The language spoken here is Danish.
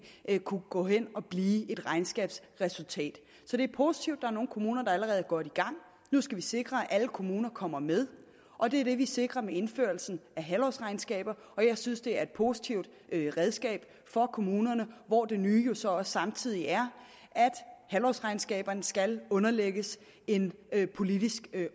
kunne gå hen og blive et regnskabsresultat så det er positivt at er nogle kommuner der allerede er godt i gang nu skal vi sikre at alle kommuner kommer med og det er det vi sikrer med indførelsen af halvårsregnskaber jeg synes det er et positivt redskab for kommunerne hvor det nye jo så også samtidig er at halvårsregnskaberne skal underlægges en politisk